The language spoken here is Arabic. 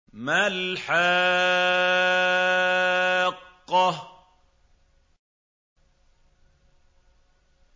مَا الْحَاقَّةُ